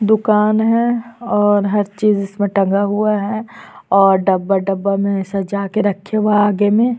दुकान है और हर चीज इसमें टंगा हुआ है और डब्बा - डब्बा में सजाके रखे हुए है आगे में --